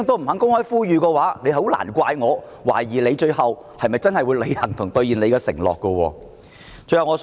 如果他這樣也不敢，也難怪我懷疑他最後會否真的履行承諾。